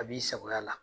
A b'i sagoya la